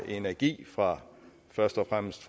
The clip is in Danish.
energi fra først og fremmest